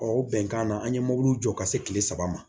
Ɔ o bɛnkan na an ye mobiliw jɔ ka se kile saba ma